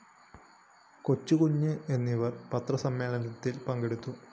കൊച്ചുകുഞ്ഞ് എന്നിവര്‍ പത്രസമ്മേളത്തില്‍ പങ്കെടുത്തു